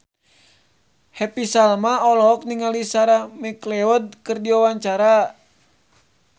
Happy Salma olohok ningali Sarah McLeod keur diwawancara